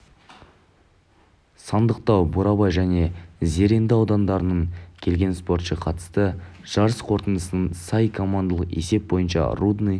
сандықтау бурабай және зеренді аудандарынан келген спортшы қатысты жарыс қорытындысына сай командалық есеп бойынша рудный